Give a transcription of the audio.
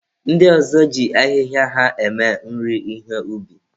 Ndị ọzọ ji ahịhịa ha eme nri ihe ubi.